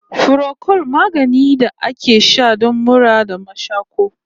Furokol magani ne da ake sha don mura da mashaƙo